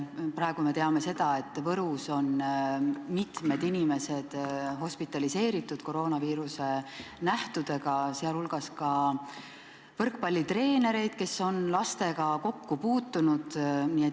Praegu me teame, et Võrus on mitmed inimesed koroonaviiruse nähtudega hospitaliseeritud, sh võrkpallitreenerid, kes on lastega kokku puutunud.